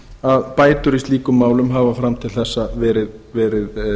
að bætur í slíkum málum hafa fram til þessa verið